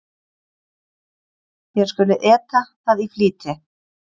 Þér skuluð eta það í flýti.